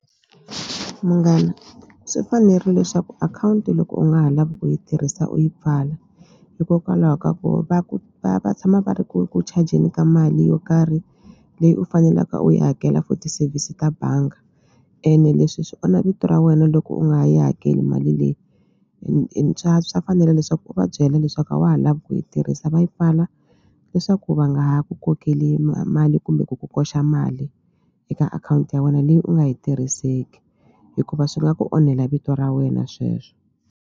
Munghana swi fanerile leswaku akhawunti loko u nga ha lavi ku yi tirhisa u yi pfala hikokwalaho ka ku va ku va va tshama va ri ku ku chajeni ka mali yo karhi leyi u fanelaka u yi hakela for ti-service ta banga ene leswi swi onha vito ra wena loko u nga yi hakeli mali leyi swa fanela leswaku u va byela leswaku a wa ha lavi ku yi tirhisa va yi pfala leswaku va nga ha ku kokeli mali kumbe ku ku koxa mali eka akhawunti ya wena leyi u nga yi tirhiseki hikuva swi nga ku onhela vito ra wena sweswo.